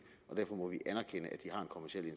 kommerciel